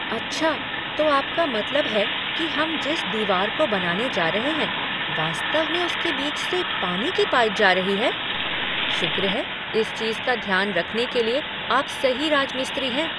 अच्छा तो आपका मतलब है कि हम जिस दीवार को बनाने जा रहे हैं, वास्तव में उसके बीच से पानी की पाइप जा रही है? शुक्र है कि इस चीज का ध्यान रखने के लिए आप सही राजमिस्त्री हैं।